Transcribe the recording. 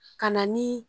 Ka na ni